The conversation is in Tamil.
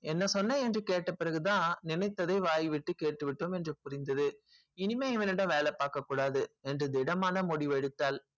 என்ன சென்றான் என்று கேட்ட பிறகுதான் நினைத்ததை வாய் விட்டு கேட்டு விட்டோம் என்று புரிந்தது இனிமே இவனிடம் வேலை பார்க்க கூடாது என்று திடம்மாக புரிந்து கொண்டது